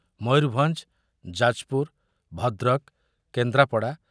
Mayurbhanj, Jajpur, Bhadrak, Kendrapara,